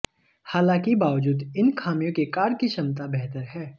हालांकि बावजूद इन खामियों के कार की क्षमता बेहतर है